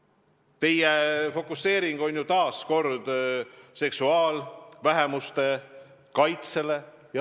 Aga teie fookus on taas kord suunatud seksuaalvähemuste kaitsele.